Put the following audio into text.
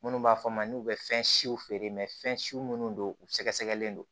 Minnu b'a fɔ a ma n'u bɛ fɛn siw feere fɛn siw minnu don u sɛgɛsɛgɛlen do